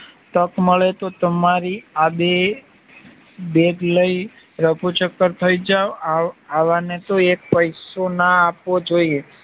તક મળે તો તમારી આ બેગ લઇ રફુચક્કર થઈ જાવ આવાને તો એક પૈસોના આપવો જોઈએ